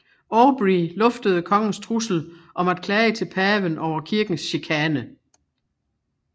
Aubrey luftede kongens trussel om at klage til paven over kirkens chikane